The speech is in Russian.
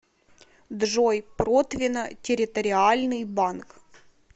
джой протвино территориальный банк